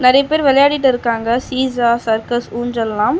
நிறைய பேரு விளையாடிட்டு இருக்காங்க சீசா சர்க்கஸ் ஊஞ்சல்லாம்.